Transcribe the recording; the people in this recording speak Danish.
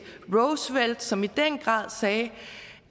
roosevelt som i den grad sagde